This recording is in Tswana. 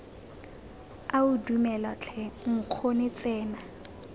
ao dumela tlhe nkgonne tsena